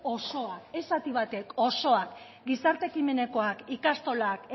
osoa ez zati batek osoa gizarte ekimenekoak ikastolak